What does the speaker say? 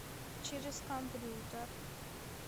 через компьютер